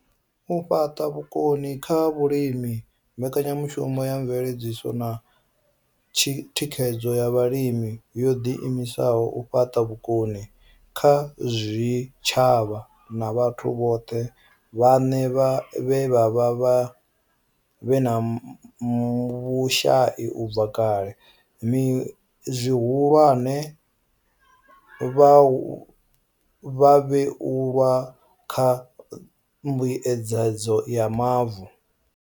U fhaṱa vhukoni kha vhalimi mbekanyamushumo ya mveledziso na thikhedzo ya vhalimi yo ḓi imisela u fhaṱa vhukoni kha zwitshavha na vhathu vhone vhaṋe vhe vha vha vhe na vhushai u bva kale, zwihulwane, vhavhuelwa kha mbuedzedzo ya mavu.